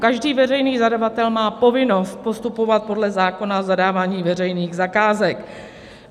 Každý veřejný zadavatel má povinnost postupovat podle zákona o zadávání veřejných zakázek.